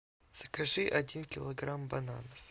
закажи один килограмм бананов